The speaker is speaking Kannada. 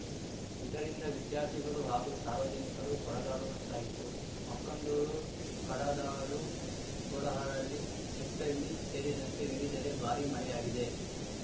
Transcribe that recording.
ಇದರಿಂದ ವಿದ್ಯಾರ್ಥಿಗಳು ಹಾಗೂ ಸಾರ್ವಜನಿಕರು ಪರದಾಡುವಂತಾಯಿತು ಮಕ್ಕಂದೂರು ಕಡದಾಳು ಕೊಡಗರಹಳ್ಳಿ ಚೆಟ್ಟಳ್ಳಿ ಸೇರಿದಂತೆ ವಿವಿಧೆಡೆ ಭಾರೀ ಮಳೆಯಾಗಿದೆ